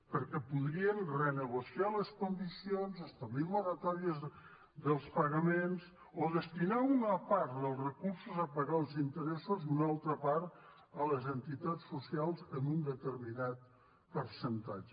perquè podrien renegociar les condicions establir moratòries dels pagaments o destinar una part dels recursos a pagar els interessos i una altra part a les entitats socials en un determinat percentatge